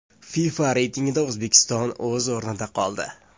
FIFA reytingida O‘zbekiston o‘z o‘rnida qoldi.